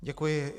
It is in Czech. Děkuji.